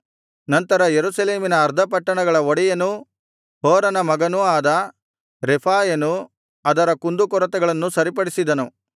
ನಂತರ ಯೆರೂಸಲೇಮಿನ ಅರ್ಧ ಪಟ್ಟಣಗಳ ಒಡೆಯನೂ ಹೂರನ ಮಗನೂ ಆದ ರೆಫಾಯನು ಅದರ ಕುಂದುಕೊರತೆಗಳನ್ನು ಸರಿಪಡಿಸಿದನು